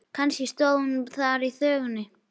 Kannski stóð hún þar í þvögunni.